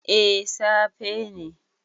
A safe ne